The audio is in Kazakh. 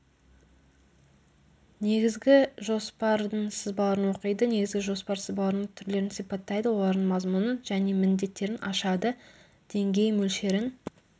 негізгі жоспардың сызбаларын оқиды негізгі жоспар сызбаларының түрлерін сипаттайды олардың мазмұнын және міндеттерін ашады деңгей мөлшерін